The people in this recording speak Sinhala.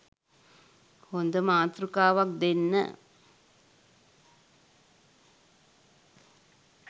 හොඳ මාතෘකාවක් දෙන්න